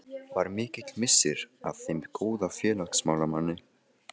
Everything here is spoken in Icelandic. Var mikill missir að þeim góða félagsmálamanni.